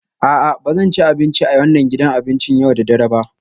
A'a, ba zan ci abinci a wannan gidan abincin yau da dare ba